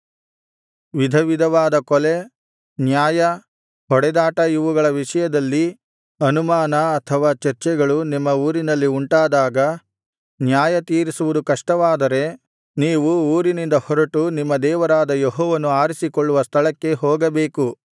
ವಿಧವಿಧವಾದ ಕೊಲೆ ನ್ಯಾಯ ಹೊಡೆದಾಟ ಇವುಗಳ ವಿಷಯದಲ್ಲಿ ಅನುಮಾನ ಅಥವಾ ಚರ್ಚೆಗಳು ನಿಮ್ಮ ಊರಿನಲ್ಲಿ ಉಂಟಾದಾಗ ನ್ಯಾಯ ತೀರಿಸುವುದು ಕಷ್ಟವಾದರೆ ನೀವು ಊರಿನಿಂದ ಹೊರಟು ನಿಮ್ಮ ದೇವರಾದ ಯೆಹೋವನು ಆರಿಸಿಕೊಳ್ಳುವ ಸ್ಥಳಕ್ಕೆ ಹೋಗಬೇಕು